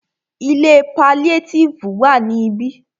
Ilé paliétífù ma wà ní ibí.